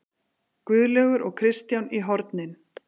Guðlaugur og Kristján í hornin!